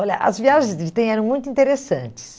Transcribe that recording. Olha, as viagens de trem eram muito interessantes.